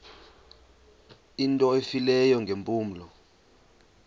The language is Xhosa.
into efileyo ngeempumlo